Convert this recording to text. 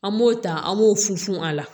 An b'o ta an b'o fu fun a la